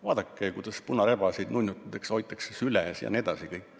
Vaadake, kuidas punarebaseid nunnutatakse, hoitakse süles jne.